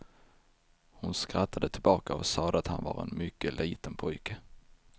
Hon skrattade tillbaka och sade att han var en mycket liten pojke.